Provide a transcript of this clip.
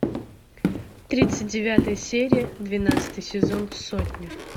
тридцать девятая серия двенадцатый сезон сотня